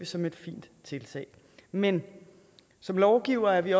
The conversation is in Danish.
som et fint tiltag men som lovgivere er vi